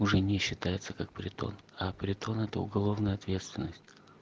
уже не считается как притон а притон это уголовная ответственность